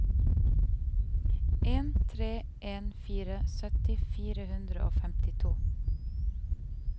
en tre en fire sytti fire hundre og femtito